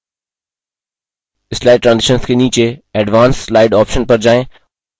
slide transitions के नीचे advance slide option पर जाएँ